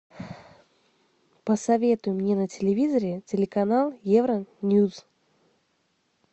посоветуй мне на телевизоре телеканал евроньюс